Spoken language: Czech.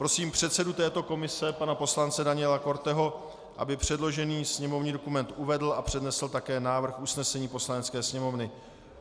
Prosím předsedu této komise pana poslance Daniela Korteho, aby předložený sněmovní dokument uvedl a přednesl také návrh usnesení Poslanecké sněmovny.